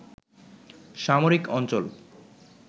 সামরিক অঞ্চল